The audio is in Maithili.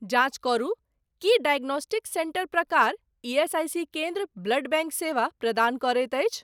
जाँच करू की डायग्नोस्टिक सेंटर प्रकार ईएसआईसी केन्द्र ब्लड बैंक सेवा प्रदान करैत अछि?